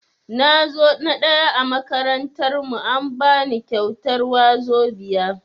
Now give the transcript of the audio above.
Nazo na ɗaya a makarantar mu, an bani kyautar wazobia.